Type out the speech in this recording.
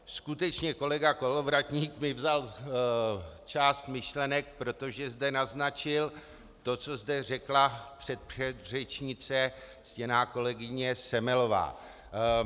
Skutečně kolega Kolovratník mi vzal část myšlenek, protože zde naznačil to, co zde řekla předpředřečnice, ctěná kolegyně Semelová.